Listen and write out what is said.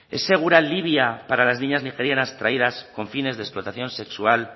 es segura libia para las niñas nigerianas traídas con fines de explotación sexual